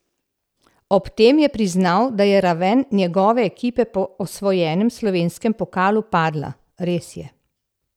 Ob tem je priznal, da je raven njegove ekipe po osvojenem slovenskem pokalu padla: "Res je.